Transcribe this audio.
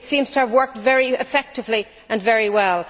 It seems to have worked very effectively and very well.